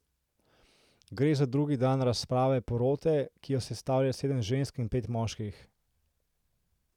Gre za drugi dan razprave porote, ki jo sestavlja sedem žensk in pet moških.